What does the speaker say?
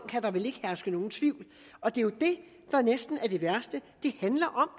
kan der vel ikke herske nogen tvivl og det er jo det der næsten er det værste det handler om